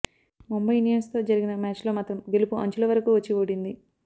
ముంబై ఇండియన్స్తో జరిగిన మ్యాచ్లో మాత్రం గెలుపు అంచుల వరకు వచ్చి ఓడింది